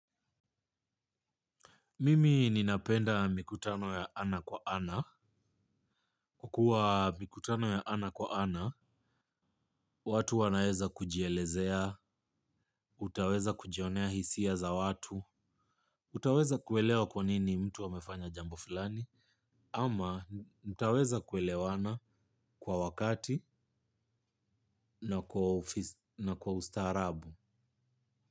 Mimi ninapenda mikutano ya ana kwa ana. Kukua mikutano ya ana kwa ana, watu wanaweza kujielezea, utaweza kujionea hisia za watu, utaweza kuelewa kwa nini mtu amefanya jambo fulani, ama mtaweza kuelewana kwa wakati na kwa ustaarabu.